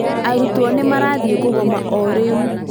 Arutwo nĩ marathiĩ kũgoma o rĩu